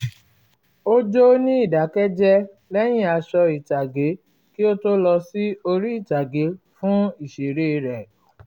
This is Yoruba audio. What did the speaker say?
ó jó ní ìdákẹ́jẹ́ lẹ́yìn aṣọ ìtàgé kí ó tó lọ sí orí ìtàgé fún ìṣeré rẹ̀